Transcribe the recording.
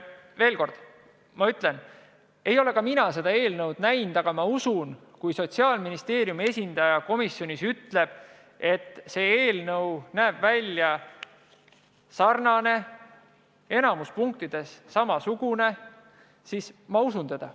Veel kord ma ütlen: ei ole ka mina seda eelnõu näinud, aga ma usun, et kui Sotsiaalministeeriumi esindaja komisjonis ütleb, et see eelnõu näeb välja sarnane, et see enamikus punktides on samasugune, siis ma usun teda.